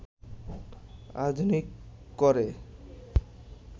আধুনিক করে